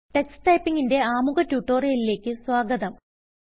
Tux Typingന്റെ ആമുഖ ട്യൂട്ടോറിയലിലേക്ക് സ്വാഗതം